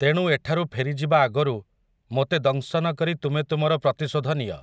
ତେଣୁ ଏଠାରୁ ଫେରିଯିବା ଆଗରୁ ମୋତେ ଦଂଶନ କରି ତୁମେ ତୁମର ପ୍ରତିଶୋଧ ନିଅ ।